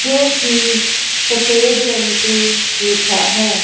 जो की सफेद रंग से लिखा है।